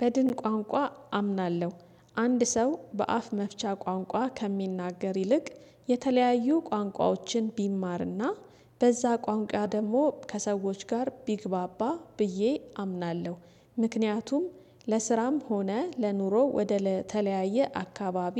በድን ቋንቋ አምናለሁ አንድ ሰው በአፍ መፍቻ ቋንቋ ከሚናገር ይልቅ የተለያዩ ቋንቋዎችን ቢማርና በዛ ቋንቋ ደግሞ ከሰዎች ጋር ቢግባባ ብዬ አምናለሁ። ምክንያቱም ለስራም ሆነ ለኑሮ ወደ ተለያየ አካባቢ